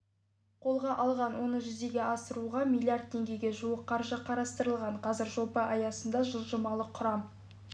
қолға алған оны жүзеге асыруға миллииард теңгеге жуық қаржы қарастырылған қазір жоба аясында жылжымалы құрам